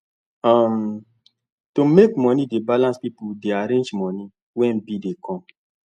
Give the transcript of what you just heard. um to make money dey balance people dey arrange money when bill dey come